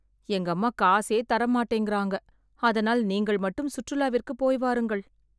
எங்கம்மா காசே தர மாட்டேங்குறாங்க.. அதனால் நீங்கள் மட்டும் சுற்றுலாவிற்கு போய் வாருங்கள்